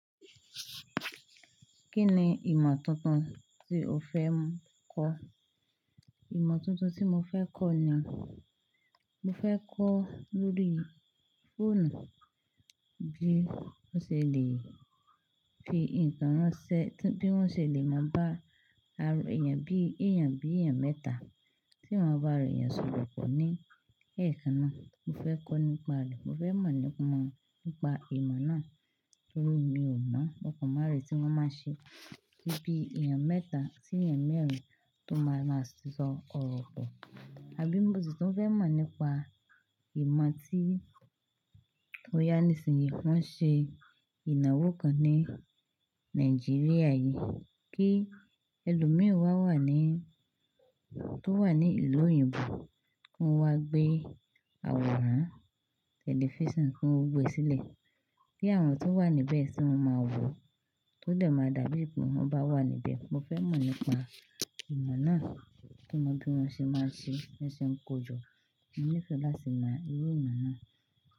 Kí ni ìmọ̀ tuntun tí o fẹ́ m kọ́? Ìmọ̀ tuntun tí mo fẹ́ kọ́ ni, mo fẹ́ kọ́ lórí fóònù, bí wọ́n ṣe lè fi ǹkan ránṣẹ́, bí wọ́n ṣe lè mọ bá, bí èèyàn bí èèyàn mẹ́ta tí wọ́n bá ro ìyànsípò pọ̀ ní ẹ̀ẹ̀kan náà. Mo fẹ́ kọ́ nípa rẹ̀. Mo fẹ́ mọ̀ nípa ìmọ̀ náà torí mi ò mọ ọ̀pọ̀ ìmọ̀ àárín tí wọ́n máa ń ṣe bí bí èèyàn mẹ́ta sí èèyàn mẹ́rin tó máa ra ṣíṣọ̀ ọ̀rọ̀ pọ̀. Àbí mo sì tún fẹ́ mọ̀ nípa ìmọ̀ ti, bóyá ni ìsìn wo ṣe ìnáwó kan ní Nàìjíríà yìí, kí ẹlòmí wá wá ní tó wà ní ìlú òyìnbó kó wá gbé àwòrán tẹlifísàn tí wọ́n gbe sílẹ̀ kí àwọn tó wà níbẹ̀ sì máa wò ó dà máa dàbí bí i pé wọ́n bá wà níbẹ̀. Mo fẹ́ mọ̀ nípa ìmọ̀ náà, kí ó mọ bí wọ́n ṣe máa ń ṣe é ṣe ń kojọ́. Mo nífẹ̀ẹ́ láti mọ irú ìmọ̀ náà.